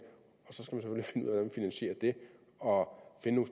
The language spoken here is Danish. finansierer det og finde